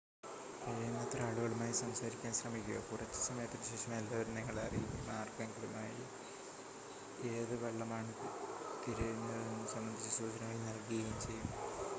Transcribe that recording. കഴിയുന്നത്ര ആളുകളുമായി സംസാരിക്കാൻ ശ്രമിക്കുക കുറച്ച് സമയത്തിനുശേഷം എല്ലാവരും നിങ്ങളെ അറിയുകയും ആർക്കെങ്കിലുമായി ഏത് വള്ളമാണ് തിരയുന്നതെന്നത് സംബന്ധിച്ച് സൂചനകൾ നൽകുകയും ചെയ്യും